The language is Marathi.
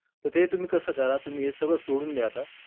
ते तुम्ही कसं करा, तुम्ही हे सगळं सोडून द्या आता.